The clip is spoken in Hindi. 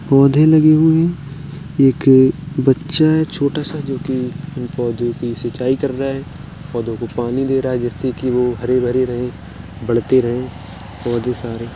पौधे लगे हुए हैं। एक बच्चा है छोटा सा जो कि पौधों की सिंचाई कर रहा है। पौधों को पानी दे रहा है। जिससे कि वह हरे-भरे रहें। बढ़ते रहे पौधे सारे।